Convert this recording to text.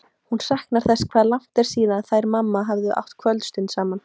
Hún saknar þess hvað langt er síðan þær mamma hafa átt kvöldstund saman.